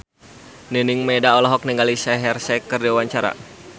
Nining Meida olohok ningali Shaheer Sheikh keur diwawancara